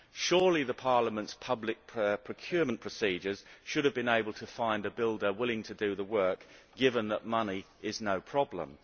Surely Parliament's public procurement procedures should have been able to find a builder willing to do the work, given that money is no problem?